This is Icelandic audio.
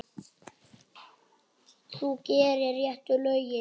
Þú gerir réttu lögin.